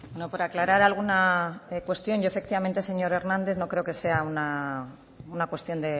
no por aclarar alguna cuestión yo efectivamente señor hernández no creo que sea una cuestión